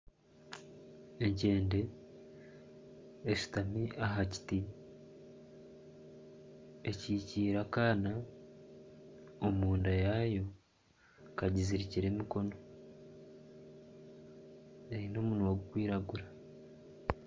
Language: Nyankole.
Enkyende eshutami aha kiti ekikiire akaana omu nda yaayo kagizirikire emikono eine omunwa gurikwiragura.